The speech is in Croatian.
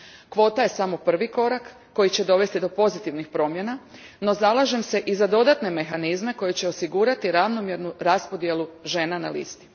Kvota je samo prvi korak koji će dovesti do pozitivnih promjena, no zalažem se i za dodatne mehanizme koji će osigurati ravnomjernu raspodjelu žena na listi.